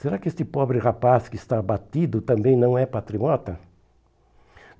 Será que este pobre rapaz que está abatido também não é patriota?